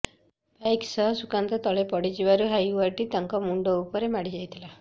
bike ସହ ସୁକାନ୍ତ ତଳେ ପଡ଼ିଯିବାରୁ ହାଇୱାଟି ତାଙ୍କ ମୁଣ୍ଡ ଉପରେ ମାଡ଼ି ଯାଇଥିଲା